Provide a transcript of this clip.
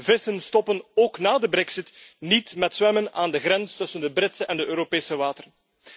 Vissen stoppen, ook na de brexit, niet met zwemmen aan de grens tussen de Britse en de Europese wateren.